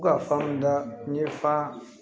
U ka fan da n ye fa